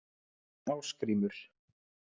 Ásgrímur